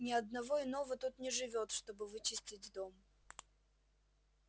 ни одного иного тут не живёт чтобы вычистить дом